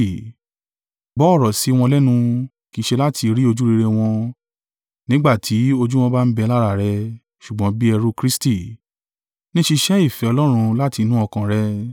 Gbọ́ ọ̀rọ̀ sí wọn lẹ́nu kì í ṣe láti rí ojúrere wọn nígbà tí ojú wọn bá ń bẹ lára rẹ, ṣùgbọ́n bí ẹrú Kristi, ní ṣíṣe ìfẹ́ Ọlọ́run láti inú ọkàn rẹ.